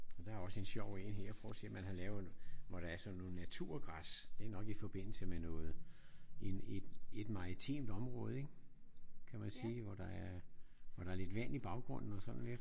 Og der er også en sjov en her. Prøv at se man har lavet hvor der er sådan noget naturgræs. Det er nok i forbindelse med noget en en et maritimt område ik? Kan man sige. Hvor der er lidt vand i baggrunden og sådan lidt